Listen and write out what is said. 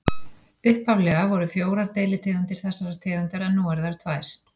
Upphaflega voru fjórar deilitegundir þessarar tegundar en nú eru þær tvær.